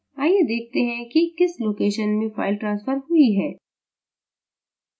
आइए देखते हैं कि किस location में फ़ाइल ट्रांस्फर हुई है